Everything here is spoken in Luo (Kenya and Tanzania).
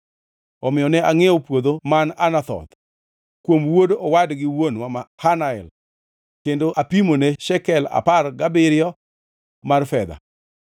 omiyo ne angʼiewo puodho man Anathoth kuom wuod owadgi wuonwa Hanamel kendo apimone shekel apar gabiriyo mar fedha.